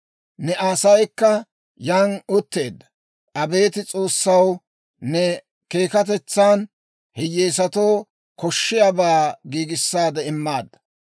Ne asaykka yaan utteedda. Abeet S'oossaw, ne keekkatetsan, hiyyeesatoo koshshiyaabaa giigissaade immaadda.